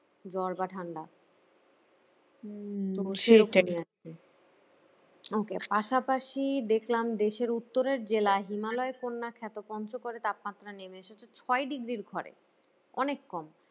জ্বর বা ঠান্ডা okay পাশাপাশি দেখলাম দেশের উত্তরের জেলায় হিমালয় কন্যা খ্যাত পঞ্চগড়ের তাপমাত্রা নেমে এসেছে ছয় degree র ঘরে অনেক কম